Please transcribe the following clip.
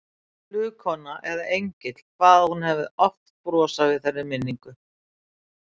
Flugkona eða engill, hvað hún hafði oft brosað við þeirri minningu.